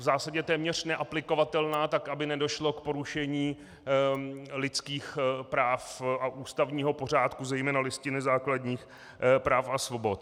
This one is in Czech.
V zásadě téměř neaplikovatelná tak, aby nedošlo k porušení lidských práv a ústavního pořádku, zejména Listiny základních práv a svobod.